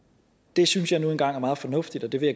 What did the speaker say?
det synes jeg nu engang er meget fornuftigt og det vil